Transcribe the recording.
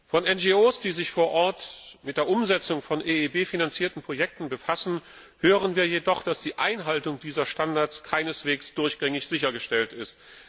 Von NGO, die sich vor Ort mit der Umsetzung von EIB finanzierten Projekten befassen, hören wir jedoch, dass die Einhaltung dieser Standards keineswegs durchgängig sichergestellt ist.